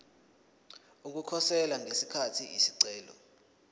ukukhosela ngesikhathi isicelo